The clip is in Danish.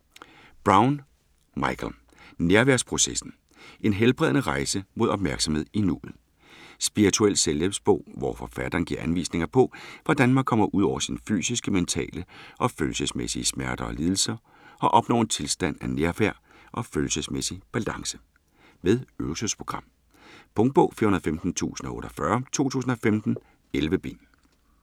Brown, Michael: Nærværsprocessen: en helbredende rejse mod opmærksomhed i nuet Spirituel selvhjælpsbog, hvor forfatteren giver anvisninger på, hvordan man kommer ud over sine fysiske, mentale og følelsesmæssige smerter og lidelser og opnår en tilstand af nærvær og følelsesmæssig balance. Med øvelsesprogram. Punktbog 415048 2015. 11 bind.